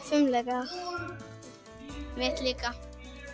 fimleika mitt líka